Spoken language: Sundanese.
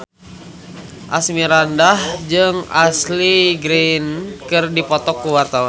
Asmirandah jeung Ashley Greene keur dipoto ku wartawan